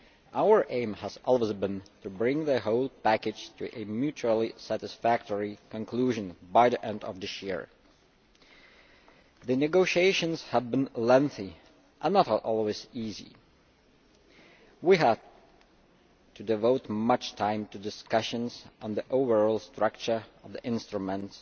Our aim has always been to bring the whole package to a mutually satisfactory conclusion by the end of this year. The negotiations have been lengthy and not always easy. We have to devote much time to discussions on the overall structure of the instruments,